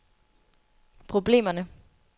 problemerne